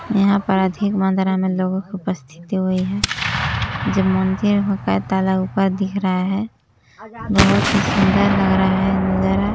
यहाँ पर अधिक मात्रा में लोगो की उपस्थित हुई है जब मंदिर हुँक ताला ऊपर दिख रहा है बोहोत ही सुंदर लग रहा है नजारा।